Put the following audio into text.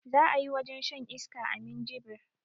Za ayi wajen shan iska a minjibir